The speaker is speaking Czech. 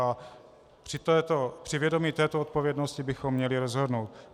A při vědomí této odpovědnosti bychom měli rozhodnout.